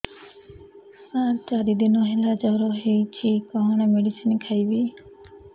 ସାର ଚାରି ଦିନ ହେଲା ଜ୍ଵର ହେଇଚି କଣ ମେଡିସିନ ଖାଇବି